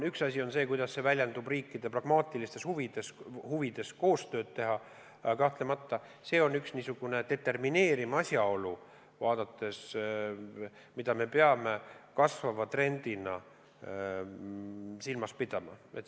Üks asi on see, kuidas see väljendub riikide pragmaatilistes huvides koostööd teha, aga kahtlemata on see ka niisugune determineeriv asjaolu, mida me peame kasvava trendina silmas pidama.